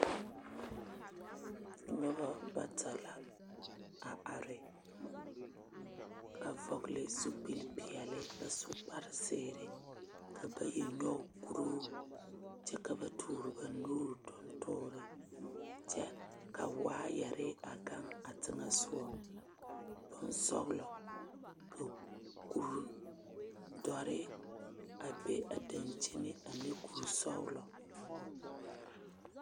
Noba bata la a are a vɔgle zupile peɛle a su kpare zēēre ka bayi nyɔge kuruu kyɛ ka ba tɔɔre ba nuuri tuŋtɔɔri kyɛ ka waayire a gaŋ a tiŋɛsɔgɔ boŋsɔglɔ ka kure dɔre a be a dankyine a ne kuri sɔglɔ.